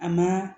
A ma